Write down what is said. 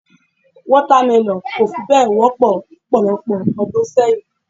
Water melon kò fi bẹ́ẹ̀ wọ́pọ̀ lọ́pọ̀lọpọ̀ ọdún sẹ́yìn.